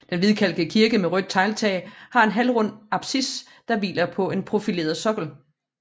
Den hvidkalkede kirke med rødt tegltag har en halvrund apsis der hviler på en profileret sokkel